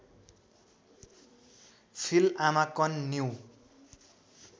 फिल्आमाकन new